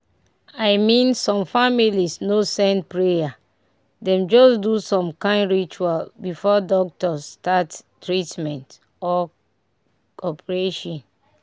i mean some families no send prayer dem just do some kind ritual before the doctors start the treatment or operation."